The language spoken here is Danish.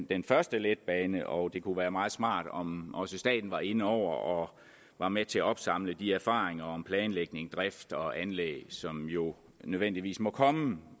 den første letbane og det kunne være meget smart om også staten var inde over og var med til at opsamle de erfaringer om planlægning drift og anlæg som jo nødvendigvis må komme